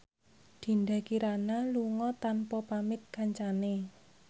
Dinda Kirana lunga tanpa pamit kancane